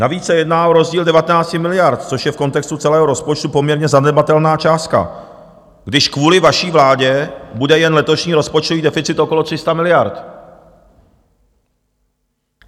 Navíc se jedná o rozdíl 19 miliard, což je v kontextu celého rozpočtu poměrně zanedbatelná částka, když kvůli vaší vládě bude jen letošní rozpočtový deficit okolo 300 miliard.